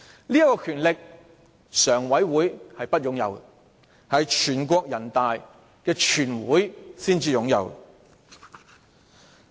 這項權力，人大常委會並不擁有，是全國人大才擁有。